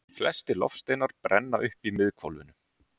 Flestir loftsteinar brenna upp í miðhvolfinu.